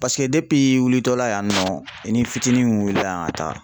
Paseke depi i wulitɔla yannɔ i ni fitini min wulila ka taa